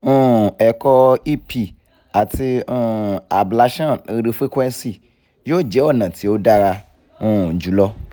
um ẹ̀kọ́ ep ati um ablation radiofrequency yoo jẹ ọna ti o dara um julọ